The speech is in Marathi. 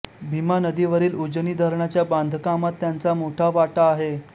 भीमा नदीवरील उजनी धरणाच्या बांधकामात त्यांचा मोठा वाटा आहे